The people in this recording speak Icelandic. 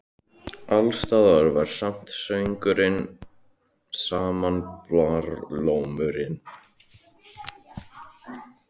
Alls staðar var sami söngurinn, sami barlómurinn.